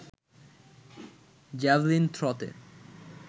javelin থ্রতে